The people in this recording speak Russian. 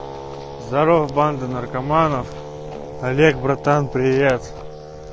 здорово банда наркоманов олег братан привет